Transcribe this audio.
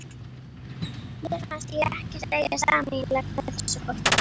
Mér fannst ég ekkert eiga sameiginlegt með þessu fólki.